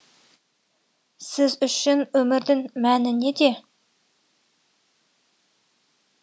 сіз үшін өмірдің мәні неде